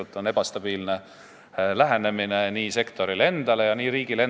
See on ebastabiilne lähenemine nii sektorile kui ka riigile.